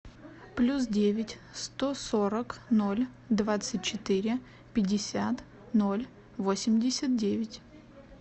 плюс девять сто сорок ноль двадцать четыре пятьдесят ноль восемьдесят девять